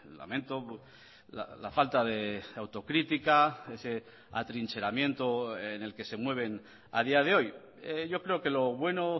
lamento la falta de autocrítica ese atrincheramiento en el que se mueven a día de hoy yo creo que lo bueno